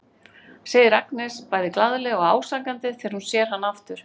segir Agnes bæði glaðlega og ásakandi þegar hún sér hann aftur.